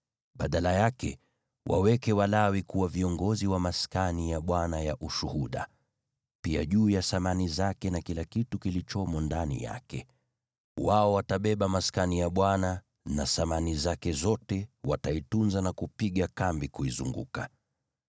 Badala yake, waweke Walawi kuwa viongozi wa Maskani ya Ushuhuda, juu ya samani zake na kila kitu kilichomo ndani yake. Wao watabeba Maskani na samani zake zote; wataitunza na kupiga kambi kuizunguka.